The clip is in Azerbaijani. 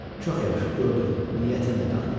Çox yaxşı, gördüm, niyyətini də qandım.